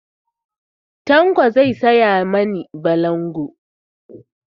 Tanko za ka saya mani balangu?